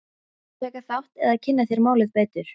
Viltu taka þátt eða kynna þér málið betur?